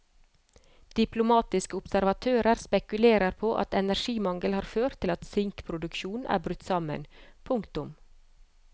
Diplomatiske observatører spekulerer på at energimangel har ført til at sinkproduksjonen er brutt sammen. punktum